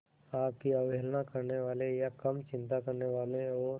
आपकी अवहेलना करने वाले या कम चिंता करने वाले और